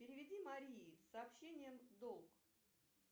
переведи марии с сообщением долг